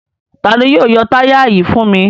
Ta ni yóò yọ táyà yìí fún mi?